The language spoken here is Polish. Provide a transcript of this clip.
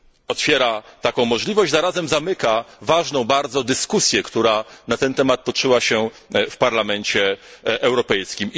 Otwiera taką możliwość, a zarazem zamyka ważną bardzo dyskusję, która na ten temat toczyła się w Parlamencie Europejskim.